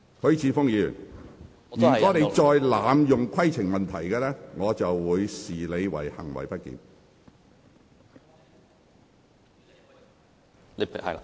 許智峯議員，如果你再濫用規程問題，我會視之為行為不檢。